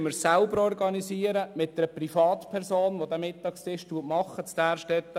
Jetzt organisieren wir den Mittagstisch in Därstetten selber mit einer Privatperson.